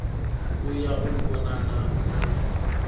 u ya u vhonana na